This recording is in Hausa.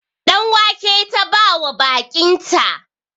Ɗan wake ta bawa baƙinta